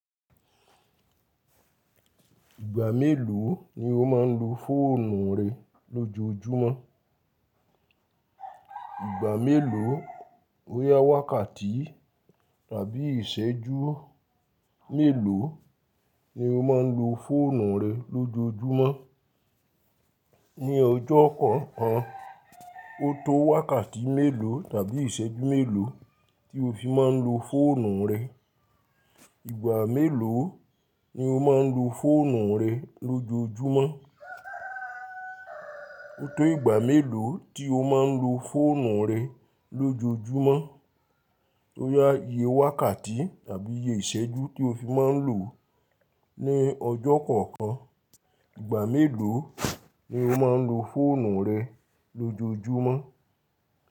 Ìgbà mélòó ni o máa ń lo fóònù rẹ lójojúmọ́? Ìgbà mélòó, bóyá wákàtí tàbí ìṣẹ́jú mélòó ni o máa ń lo fóònù rẹ lójojúmọ́? Ni ọjọ́ kọ̀ọ̀kan, o tó wákàtí mélòó tàbí ìṣẹ́jú mélòó tí o fi máa ń lo fóònù rẹ? Ìgbà mélòó ni o máa ń lo fóònù rẹ lójojúmọ́? O tó ìgbà mélòó tí o máa ń lo fóònù rẹ lójojúmọ́, bóyá iye wákàtí tàbí iye ìṣẹ́jú tí o fi máa ń lò ó ní ọjọ́ kọ̀ọ̀kan. Ìgbà mélòó ni o máa ń lo fóònù rẹ lójojúmọ́?